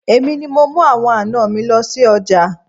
Èmi ni mo ń mú àwọn àná mi lọ sí ọjà.